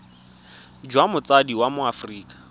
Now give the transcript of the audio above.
jwa motsadi wa mo aforika